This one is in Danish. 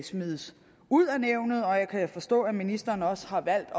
smides ud af nævnet og jeg kan forstå at ministeren også har valgt at